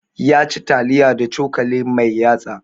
Ya ci taliya da cokali mai yatsa